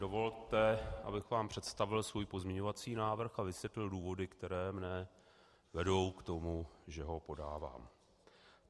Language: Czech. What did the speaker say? Dovolte, abych vám představil svůj pozměňovací návrh a vysvětlil důvody, které mne vedou k tomu, že ho podávám.